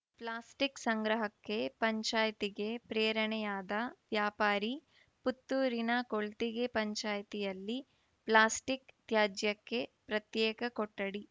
plastic ಸಂಗ್ರಹಕ್ಕೆ ಪಂಚಾಯ್ತಿಗೆ ಪ್ರೇರಣೆಯಾದ ವ್ಯಾಪಾರಿ ಪುತ್ತೂರಿನ ಕೊಳ್ತಿಗೆ ಪಂಚಾಯಿತಿಯಲ್ಲಿ ಪ್ಲಾಸ್ಟಿಕ್‌ ತ್ಯಾಜ್ಯಕ್ಕೆ ಪ್ರತ್ಯೇಕ ಕೊಠಡಿ